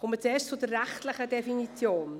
Zuerst komme ich zur rechtlichen Definition.